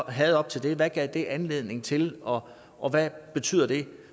havde op til det hvad gav det anledning til og og hvad betyder det